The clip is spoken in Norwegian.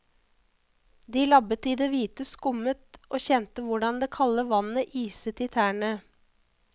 De labbet i det hvite skummet og kjente hvordan det kalde vannet iset i tærne.